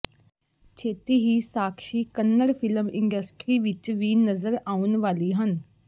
ਛੇਤੀ ਹੀ Sakshi Kannada film industry ਵਿੱਚ ਵੀ ਨਜ਼ਰ ਆਉਣ ਵਾਲੀ ਹਨ